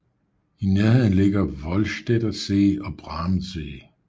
I nærheden ligger Vollstedter See og Brahmsee